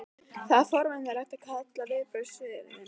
Það er forvitnilegt að kanna viðbrögðin.